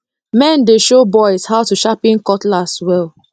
men dey show boys how to sharpen cutlass well